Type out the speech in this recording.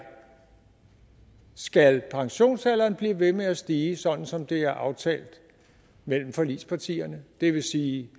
skal pensionsalderen blive ved med at stige sådan som det er aftalt mellem forligspartierne det vil sige